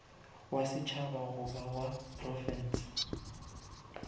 wa setšhaba goba wa profense